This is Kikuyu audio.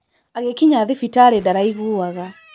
Agĩkinya thibitarĩ ndaraĩiguaga.